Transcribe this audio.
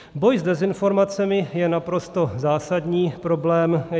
Boj s dezinformacemi je naprosto zásadní problém.